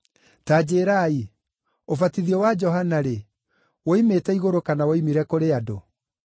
Ta njĩĩrai, ũbatithio wa Johana-rĩ, woimĩte igũrũ kana woimire kũrĩ andũ?”